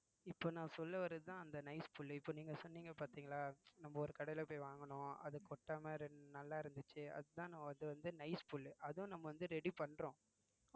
இப்போ நான் சொல்ல வர்றதுதான் அந்த nice புல்லு இப்போ நீங்க சொன்னீங்க பாத்தீங்களா நம்ப ஒரு கடையில போய் வாங்குனோம் அது கொட்டாம நல்லா இருந்துச்சு அதுதான் அது வந்து nice புல்லு அதுவும் நம்ம வந்து ready பண்றோம்